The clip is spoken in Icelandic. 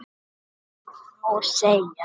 Það má nú segja.